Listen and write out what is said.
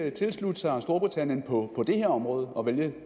ikke tilslutte sig storbritannien på det her område og vælge